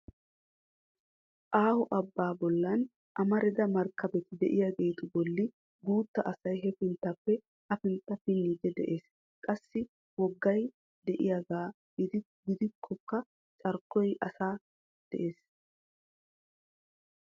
Aaho abba bollan amarida markkabeti de'iyaageetu bolli guutta asay hefinttappe hafintta pinniidi de'ees. Qassi woggay de'iyaaga giddonkka cora asay de'ees.